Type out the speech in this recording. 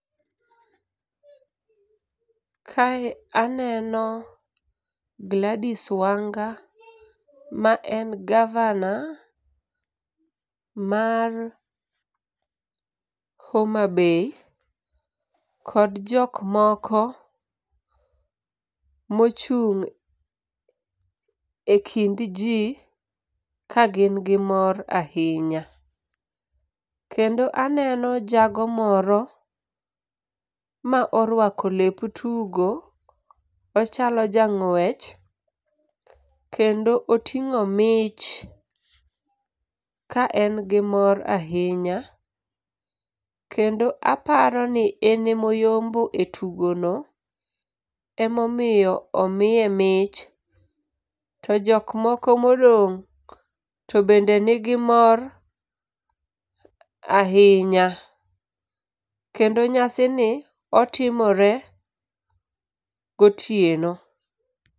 Kae aneno Gladys Wanga ma en gavana mar Homa Bay kod jok moko mochung' e kind jii ka gin gi mor ahinya. Kendo aneno jago moro ma orwako lep tugo, ochalo jang'wech, kendo oting'o mich ka en gi mor ahinya, kendo aparo ni enemoyombo e tugo no emomo omie mich. To jok moko modong' to bende nigi mor ahinya. Kendo nyasini, otimore gotieno.